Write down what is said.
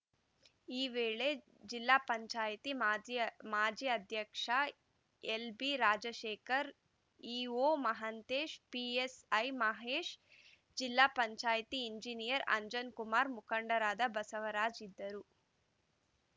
ಶಾಸಕ ಕೆಎಸ್‌ ಈಶ್ವರಪ್ಪ ವಿಚಾರಗೋಷ್ಠಿ ಹಾಗೂ ಸಂಸದ ಬಿವೈ ರಾಘವೇಂದ್ರ ವಸ್ತುಪ್ರದರ್ಶನ ಮಳಿಗೆ ಉದ್ಘಾಟಿಸಲಿದ್ದಾರೆ